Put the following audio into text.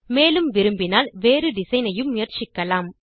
மேலும் விரும்பினால் வேறு டிசைன் ஐயும் முயற்சிக்கலாம்